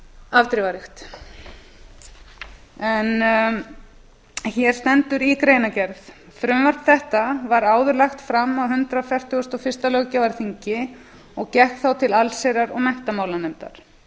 afdrifaríkt hér stendur í greinargerð frumvarp þetta var áður lagt fram á hundrað fertugasta og fyrsta löggjafarþingi og gekk þá til allsherjar og menntamálanefndar